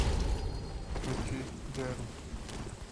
включи джерм